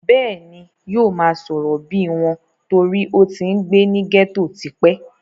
bẹ́ẹ̀ni, yóò máa sọ̀rọ̀ bíi wọn torí ó ń ti gbé ní gẹ́tò tipẹ́